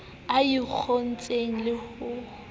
a e ngotseng le ho